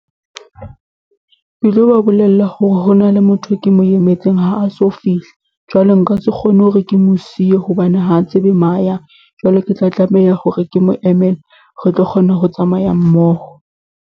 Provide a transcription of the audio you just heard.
Ke lo ba bolella hore hona le motho e ke mo emetseng ha a so fihle, jwale nka se kgone hore ke mo siye hobane ha a tsebe mo a yang. Jwale ke tla tlameha hore ke mo emele, re tlo kgona ho tsamaya mmoho.